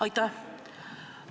Aitäh!